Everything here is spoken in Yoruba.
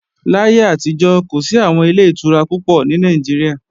Láyé àtijọ́, kò sí àwọn Ilé-ìtura púpọ̀ ní Nàìjíríà